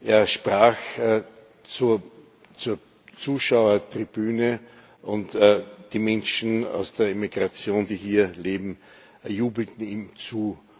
Er sprach zur Zuschauertribüne, und die Menschen aus der Emigration, die hier leben, jubelten ihm zu.